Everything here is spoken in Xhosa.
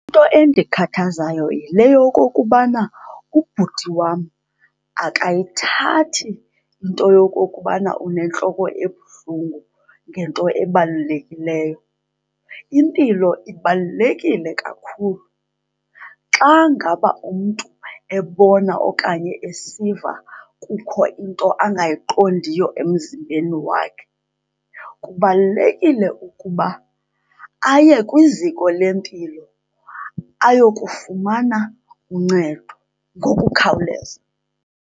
Into endikhathazayo yile yokokubana ubhuti wam akayithathi into yokokubana unentloko ebuhlungu ngento ebalulekileyo. Impilo ibalulekile kakhulu. Xa ngaba umntu ebona okanye esiva kukho into angayiqondiyo emzimbeni wakhe kubalulekile ukuba aye kwiziko lempilo ayokufumana uncedo ngokukhawuleza.